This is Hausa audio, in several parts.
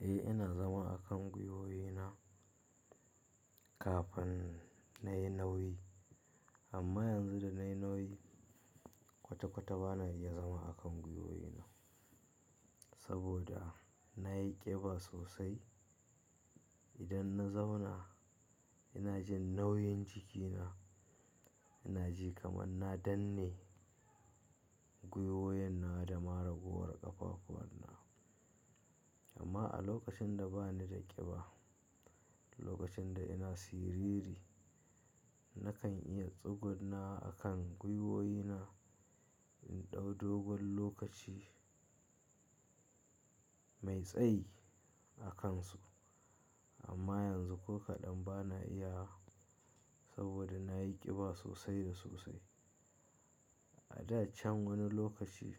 Eh, ina zama a kan gwiwoyena kafin nayi nauyi amma yanzu da nayi nauyi kwata-kwata bana iya zama a kan gwiwoyena saboda nayi ƙiba sosai. Idan na zauna ina jin nauyin jikina, ina ji kamar na danne gwiwoyena da ma ragowar ƙafafuwana. Amma a lokacin da bani da ƙiba, lokacin da ina siriri, nakan iya tsugunna a kan gwiwoyena in ɗau dogon lokaci mai tsayi a kansu. Amma yanzu ko kaɗan bana iya saboda nayi ƙiba sosai da sosai. A da can wani lokaci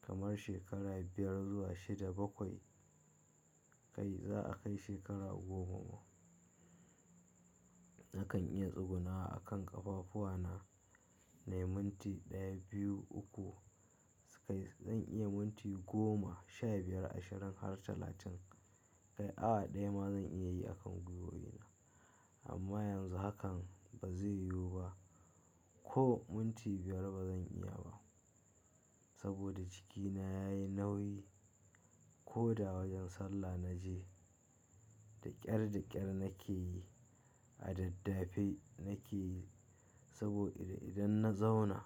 kamar shekara biyar zuwa shida bakwai kai za'a kai shekara goma ma, nakan iya tsugunna a kan ƙafafuwana na yi minti ɗaya, biyu, uku sai zan iya minti goma, sha biyar, ashirin har talatin. Kai awa ɗaya ma zan iya yi a kan gwiwoyena. Amma yanzu hakan bazai yiwu ba ko minti biyar bazan iya ba saboda jikina yayi nauyi. Ko da wajen sallah na je da ƙyar, da ƙyar nake yi a daddafe nake yi saboda idan na zauna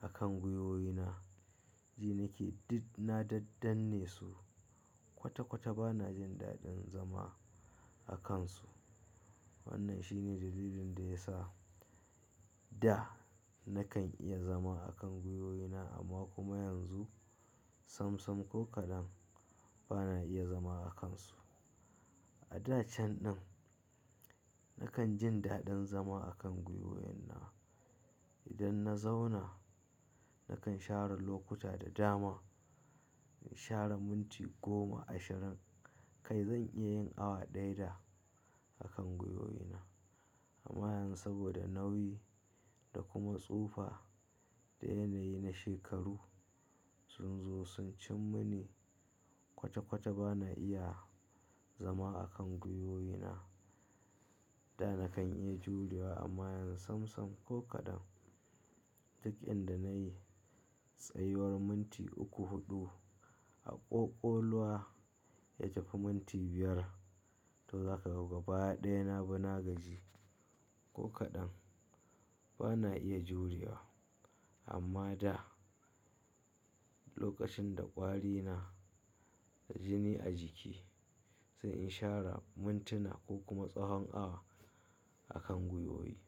a kan gwiwoyena, ji nake na daddanne su kwata-kwata bana jin daɗin zama a kansu. Wannan shine dalilin da ya sa da nakan iya zama a kan gwiwoyena amma kuma yanzu sam-sam ko kaɗan bana iya zama a kansu. A da can nan nakan jin daɗin zama a kan gwiwoyena. Idan na zauna nakan share lokuta da dama, in share minti goma, ashirin kai zan iya yin awa ɗaya da akan gwiwoyena. Amma yanzu saboda nauyi da kuma tsufa da yanayi na shekaru sun zo sun cim mini kwata-kwata bana iya zama a kan gwiwoyena. Da nakan iya juriya amma yanzu sam-sam ko kaɗan duk inda nayi tsayiwar minti uku, huɗu a ƙoƙoluwa ya cika minti biyar to za ka ga gaba ɗaya na bi na gaji ko kaɗan bana iya juriya. Amma da lokacin da ƙwari na jini a jiki sai in share mintuna ko kuma tsahon awa a kan gwiwoyi.